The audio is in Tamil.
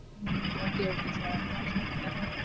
okay okay sir.